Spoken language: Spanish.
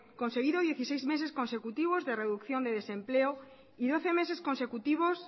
conseguido dieciséis meses consecutivos de reducción de desempleo y doce meses consecutivos